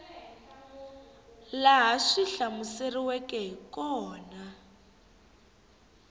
laha swi hlamuseriweke hi kona